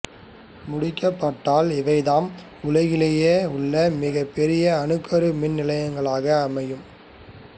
முடிக்கப்பட்டால் இவைதாம் உலகிலேயே உள்ல மிகப் பெரிய அணுக்கரு மின் நிலையங்களாக அமையும்